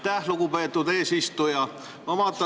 Aitäh, lugupeetud eesistuja!